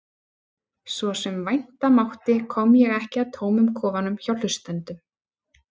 Svo sem vænta mátti kom ég ekki að tómum kofunum hjá hlustendum.